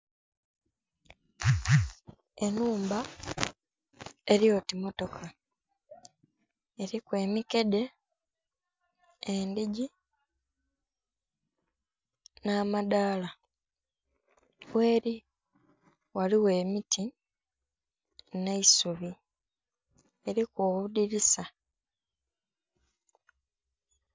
Enhumba elyoti matoka eriku emikedhe, endhigii nha madhala, gheli ghaligho emiti nhe'isubi eriku obudhinisa.